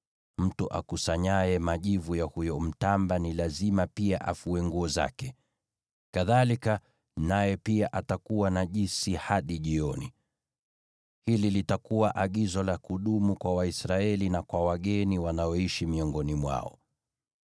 Mtu akusanyaye majivu ya huyo mtamba ni lazima pia afue nguo zake, kadhalika naye pia atakuwa najisi hadi jioni. Hili litakuwa agizo la kudumu kwa Waisraeli na kwa wageni wanaoishi miongoni mwao.